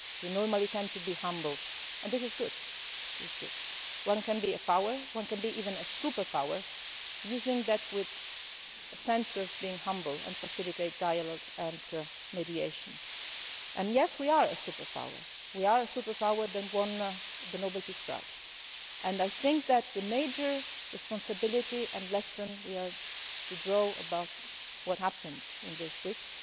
European word. Normally we tend to be humble, and this is good. One can be a power, one can be even a superpower, using that with a sense of being humble and facilitating dialogue and mediation and yes, we are a superpower. We are a superpower that won the Noble Peace Prize, and I think that the major responsibility and lesson we have to draw from what has happened